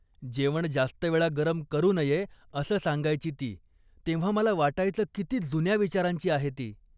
जेवण जास्त वेळा गरम करू नये असं सांगायची ती तेव्हा मला वाटायचं किती जुन्या विचारांची आहे ती.